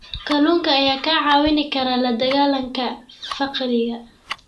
Kalluunka ayaa kaa caawin kara la dagaalanka faqriga.